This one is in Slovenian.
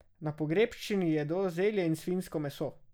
Na pogrebščini jedo zelje in svinjsko meso.